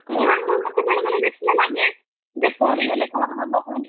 ମତେ ବେଳେବେଳେ ଦେଖିଲେ ଲାଗେ, ଯେ ପଡ଼ିଗଲେ କଣ ହବ କହନି?